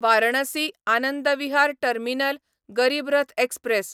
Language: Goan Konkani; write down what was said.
Varanasi Anand Vihar terminal Garib Rath express